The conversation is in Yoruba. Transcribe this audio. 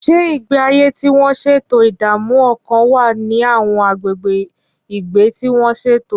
Ṣé ìgbé ayé tí wọ́n ṣètò ìdààmú ọkàn wà ní àwọn agbègbè ìgbé tí wọ́n ṣètò?